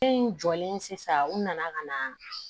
Den in jɔlen sisan u nana ka na